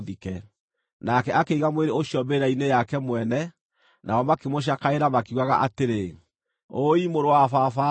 Nake akĩiga mwĩrĩ ũcio mbĩrĩra-inĩ yake mwene, nao makĩmũcakaĩra makiugaga atĩrĩ, “Ũũi mũrũ wa baba-ĩ!”